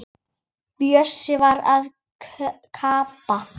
Bjössi var að gabba.